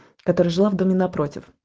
которая жила в доме напротив